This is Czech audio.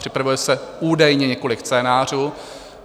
Připravuje se údajně několik scénářů.